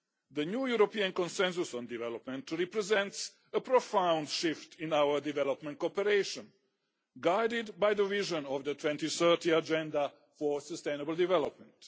The new European Consensus on Development represents a profound shift in our development cooperation, guided by the vision of the 2030 Agenda for Sustainable Development.